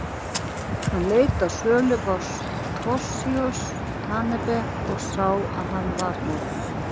Hann leit á sölubás Toshizo Tanabe og sá að hann var horfinn.